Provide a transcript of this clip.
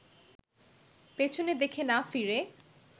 পেছনে দেখে না ফিরে